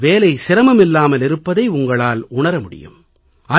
உங்கள் வேலை சிரமமில்லாமல் இருப்பதை உங்களால் உணர முடியும்